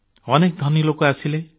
ଅନେକ ଧନୀ ଲୋକ ଆସିଲେ